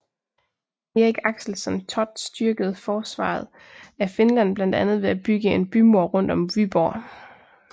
Erik Axelsson Thott styrkede forsvaret af Finland blandt andet ved at bygge en bymur rundt om Vyborg